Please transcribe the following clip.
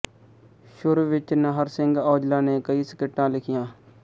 ਸ਼ੁਰ ਵਿੱਚ ਨਾਹਰ ਸਿਘ ਔਜਲਾ ਨੇ ਕਈ ਸਕਿੱਟਾਂ ਲਿਖੀਆ